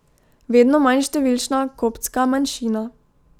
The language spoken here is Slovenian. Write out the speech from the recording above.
Vedno manj številčna koptska manjšina.